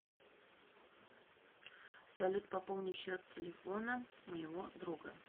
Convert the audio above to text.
салют пополни счет телефона моего друга